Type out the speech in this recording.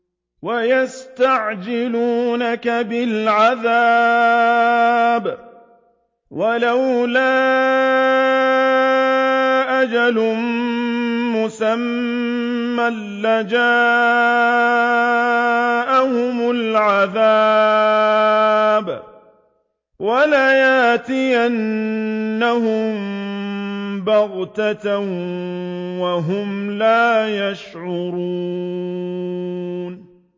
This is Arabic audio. وَيَسْتَعْجِلُونَكَ بِالْعَذَابِ ۚ وَلَوْلَا أَجَلٌ مُّسَمًّى لَّجَاءَهُمُ الْعَذَابُ وَلَيَأْتِيَنَّهُم بَغْتَةً وَهُمْ لَا يَشْعُرُونَ